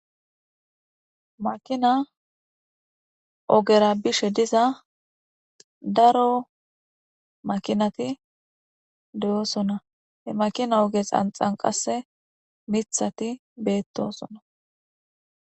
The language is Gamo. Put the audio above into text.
Makina ogera haysa bollappe beyash dizays aaze gizaysa gidikko gade goyza kaamey woykko dozory gade dembaththish woykko lo'aththshe dizaysa be'ashe betosona.